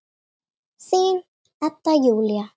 Þín, Edda Júlía.